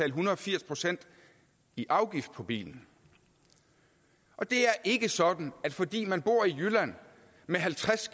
en hundrede og firs procent i afgift på bilen og det er ikke sådan at fordi man bor i jylland med halvtreds